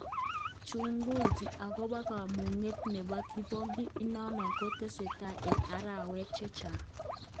Chunguzi akopa kamuget nepo kipongin inano ko tesetan en arawek chechaan.